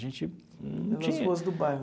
A gente não tinha. Pelas ruas do bairro.